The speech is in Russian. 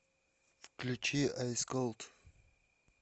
включи айс колд